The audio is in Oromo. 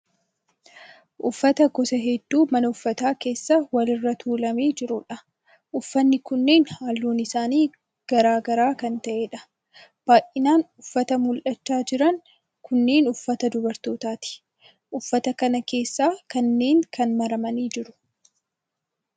Uffata gosa hedduu mana uffataa keessa wal irra tuulamee jiruudha. Uffatni kunneen halluun isaanii garaa gara kan ta'eedha. Baayinaan uffatni mul'achaa jiran kunneen uffata dubartootaati. Uffata kana keessaa kanneen kaan maramanii jiru.